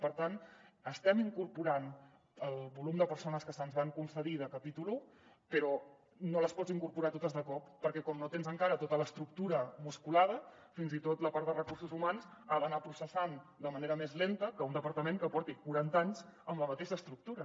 per tant estem incorporant el volum de persones que se’ns van concedir de capítol un però no les pots incorporar totes de cop perquè com que no tens encara tota l’estructura musculada fins i tot la part de recursos humans ha d’anar processant de manera més lenta que un departament que porti quaranta anys amb la mateixa estructura